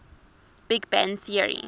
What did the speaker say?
big bang theory